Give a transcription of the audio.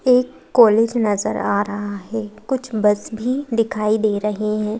एक कॉलेज नजर आ रहा है कुछ बस भी दिखाई दे रहे हैं।